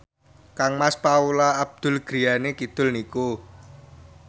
kangmas Paula Abdul griyane kidul niku